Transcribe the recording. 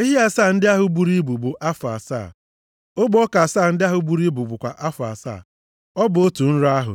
Ehi asaa ndị ahụ buru ibu bụ afọ asaa. Ogbe ọka asaa ndị ahụ buru ibu bụkwa afọ asaa. Ọ bụ otu nrọ ahụ,